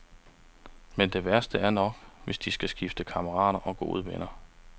Men det værste er nok, hvis de skal skifte kammerater og gode venner.